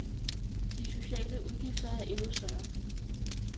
De sociale udgifter er endnu større.